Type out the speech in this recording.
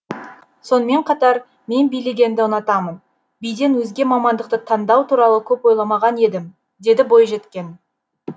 сонымен қатар мен билегенді ұнатамын биден өзге мамандықты таңдау туралы көп ойламаған едім дейді бойжеткен